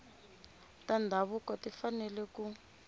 ta ndhavuko ti fanele ku